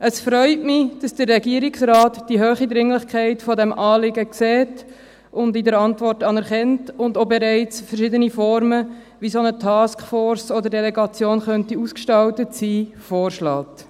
Es freut mich, dass der Regierungsrat die hohe Dringlichkeit dieses Anliegens sieht, diese in der Antwort anerkennt und auch bereits verschiedene Formen, wie eine solche Taskforce oder Delegation ausgestaltet sein könnte, vorschlägt.